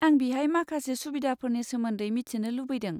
आं बिहाय माखासे सुबिदाफोरनि सोमोन्दै मिथिनो लुबैदों।